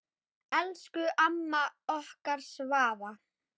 Elsku amma okkar Svava.